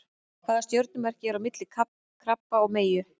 Hvaða stjörnumerki er á milli krabba og meyju?